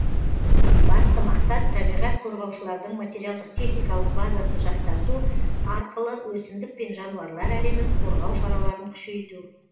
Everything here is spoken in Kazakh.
басты мақсат табиғат қорғаушылардың материалдық техникалық базасын жақсарту арқылы өсімдік пен жануарлар әлемін қорғау шараларын күшейту